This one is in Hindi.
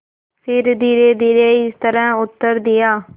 फिर धीरेधीरे इस तरह उत्तर दिया